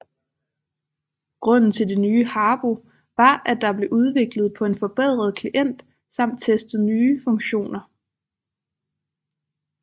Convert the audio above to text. Grunden til det nye Habbo var at der blev udviklet på en forbedret klient samt teste nye funktioner